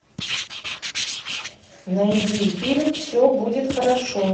найди фильм все будет хорошо